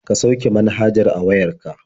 Ka sauke manhajar a wayar ka.